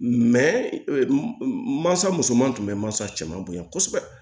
mansa musoman tun bɛ mansa cɛman bonya kosɛbɛ